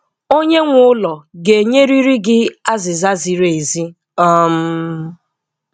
Onye nwe ụlọ ga-enyerịrị gị azịza ziri ezi. um